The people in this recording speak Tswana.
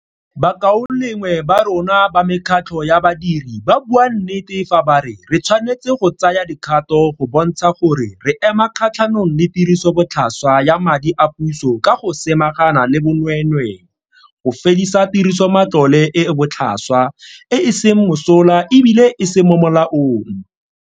Bakaulengwe ba rona ba mekgatlho ya badiri ba bua nnete fa ba re re tshwanetse go tsaya dikgato go bontsha gore re ema kgatlhanong le tirisobotlhaswa ya madi a puso ka go samagana le bonweenwee, go fedisa tirisomatlole e e botlhaswa, e e seng mosola e bile e se mo molaong.